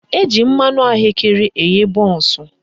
Eji mmanụ ahụekere eghe bọnsụ